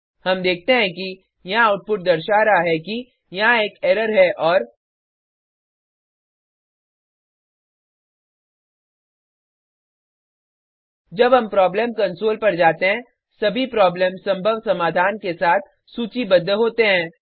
हम देखते हैं कि यहाँ आउटपुट दर्शा रहा है कि यहाँ एक एरर है और जब हम प्रॉब्लम कंसोल पर जाते हैं सभी प्रॉब्लम संभव समाधान के साथ सूचीबद्ध होते हैं